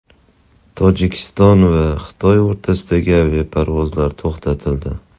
Tojikiston va Xitoy o‘rtasidagi aviaparvozlar to‘xtatildi.